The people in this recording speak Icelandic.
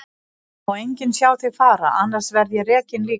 Það má enginn sjá þig fara, annars verð ég rekinn líka.